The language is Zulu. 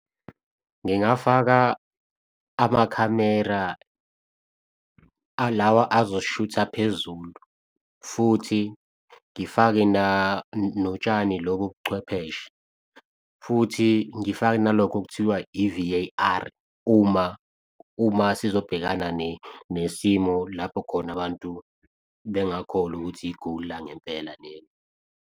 Ngingafaka amakhamera alawa azosishutha phezulu, futhi ngifake notshani lobo buchwepheshe futhi ngifake nalokho okuthiwa i-V_A_R uma uma sizobhekana nesimo lapho khona abantu bengakholwa ukuthi i-goal langempela lelo.